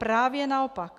Právě naopak.